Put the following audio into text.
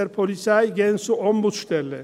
die Polizei gehen zur Ombudsstelle.